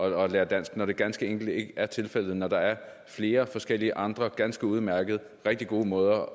at lære dansk når det ganske enkelt ikke er tilfældet og når der er flere forskellige andre ganske udmærkede og rigtig gode måder